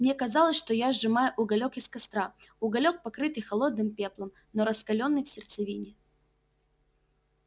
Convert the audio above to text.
мне казалось что я сжимаю уголёк из костра уголёк покрытый холодным пеплом но раскалённый в сердцевине